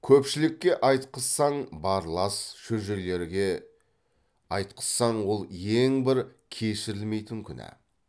көпшілікке айтқызсаң барлас шөжелерге айтқызсаң ол ең бір кешірілмейтін күнә